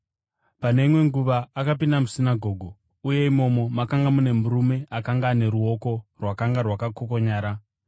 Pane imwe nguva akapinda musinagoge, uye imomo makanga mune murume akanga ane ruoko rwakanga rwakakokonyara.